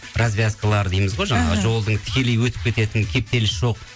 развязкалар дейміз ғой жаңағы жолдың тікелей өтіп кететін кептеліс жоқ